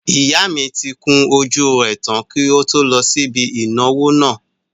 Ìyá mi tí kun ojú rẹ̀ tán kí ó tó lọ sí ibi ìnáwó náà